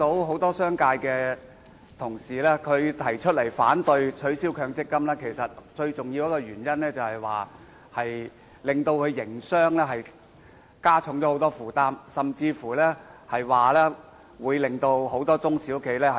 很多商界同事反對取消對沖機制的最重要原因，是他們認為此舉會大大加重營商負擔，甚至令很多中小企倒閉。